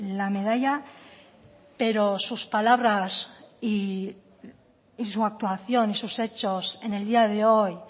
la medalla pero sus palabras y su actuación y sus hechos en el día de hoy